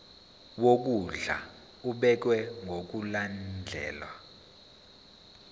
wokondla ubekwa ngokulandlela